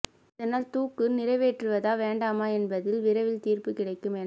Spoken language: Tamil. இதனால் தூக்கு நிறைவேற்றுவதா வேண்டாமா என்பதில் விரைவில் தீர்ப்பு கிடைக்கும் என